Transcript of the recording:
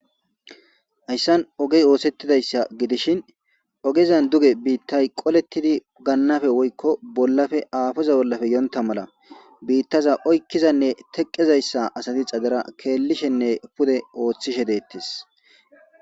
Haysan oge osethidaysa gidishin ogezan duge bitay qoletidi ganappe woyko bolape afoza bolape yonta mala bitaza oykizane teqizaysa asati xadera kelishene pude othishe detes.